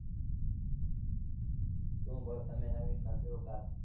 શું ભાઈ તમે નવીન માં કયો કાઇ.